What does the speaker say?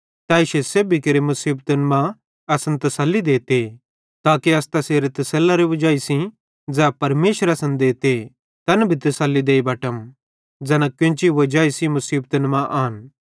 तै इश्शे सेब्भी मुसीबतन मां असन तसल्ली देते ताके अस तैस तसेल्लरे वजाई सेइं ज़ै परमेशर असन देते तैन भी तसल्ली देई बटम ज़ैना कोन्ची वजाई सेइं मुसीबतन मां आन